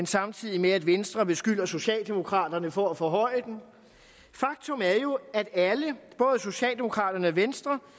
samtidig med at venstre beskylder socialdemokraterne for at forhøje den faktum er jo at alle både socialdemokraterne og venstre